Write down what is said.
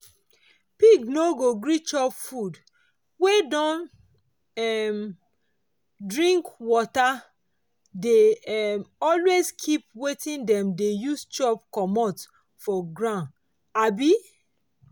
pigs no go gree chop food wey don um dring water dey um always keep wetin them dey use chop commot for ground. um